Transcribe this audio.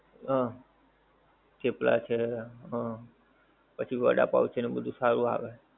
હા થેપલા છે હમ પછી વડાપાવ છે એ બધુ સારું આવે છે.